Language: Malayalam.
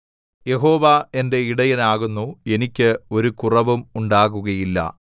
യഹോവ എന്റെ ഇടയനാകുന്നു എനിക്ക് ഒരു കുറവും ഉണ്ടാകുകയില്ല